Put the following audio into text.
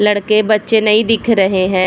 लड़के बच्चे नहीं दिख रहे हैं ।